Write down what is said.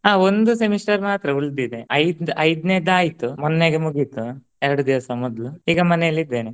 ಆ ಒಂದು semester ಮಾತ್ರ ಉಳ್ದಿದೆ ಐ~ಐದ್ನೇದ್ ಆಯ್ತು ಮೊನ್ನೆಗೆ ಮುಗೀತು. ಎರ್ಡ್ ದಿವ್ಸ ಮೊದ್ಲು ಈಗ ಮನೆಲಿದ್ದೇನೆ.